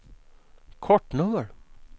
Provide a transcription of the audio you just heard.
kortnummer